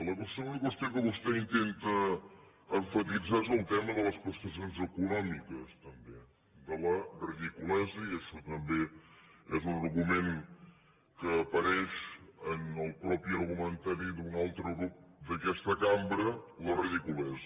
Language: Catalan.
la segona qüestió que vostè intenta emfasitzar és el tema de les prestacions econòmiques també de la ridiculesa i això també és un argument que apareix en el mateix argumentari d’un altre grup d’aquesta cambra la ridiculesa